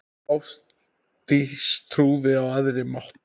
Ástdís trúði á æðri mátt.